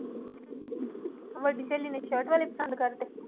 ਵੱਡੀ ਸਹੇਲੀ ਨੇ ਸਰਟ ਵਾਲੇ ਪਸੰਦ ਕਰ ਦਿੱਤੇ।